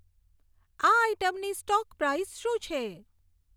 આ આઇટમની stock price શું છે